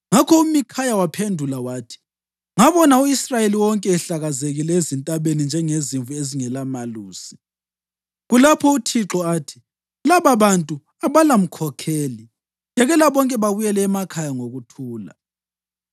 Ngakho uMikhaya waphendula wathi, “Ngabona u-Israyeli wonke ehlakazekile ezintabeni njengezimvu ezingelamelusi, kulapho uThixo athi ‘Lababantu abalamkhomkheli. Yekela bonke babuyele emakhaya ngokuthula.’ ”